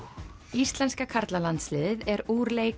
íslenska karlalandsliðið er úr leik